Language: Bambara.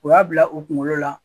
U y'a bila u kunkolo la.